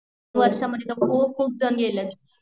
त्या वर्ष मध्ये तर खूप खूप जण गेलेत